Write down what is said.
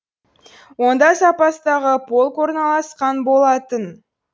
онда запастағы полк орналасқан болатын